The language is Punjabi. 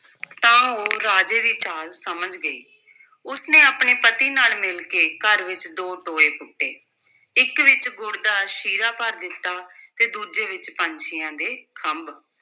ਤਾਂ ਉਹ ਰਾਜੇ ਦੀ ਚਾਲ ਸਮਝ ਗਈ, ਉਸ ਨੇ ਆਪਣੇ ਪਤੀ ਨਾਲ ਮਿਲ ਕੇ ਘਰ ਵਿੱਚ ਦੋ ਟੋਏ ਪੁੱਟੇ, ਇਕ ਵਿੱਚ ਗੁੜ ਦਾ ਸ਼ੀਰਾ ਭਰ ਦਿੱਤਾ ਤੇ ਦੂਜੇ ਵਿੱਚ ਪੰਛੀਆਂ ਦੇ ਖੰਭ।